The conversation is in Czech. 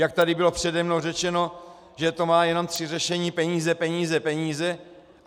Jak tady bylo přede mnou řečeno, že to má jenom tři řešení: peníze, peníze, peníze.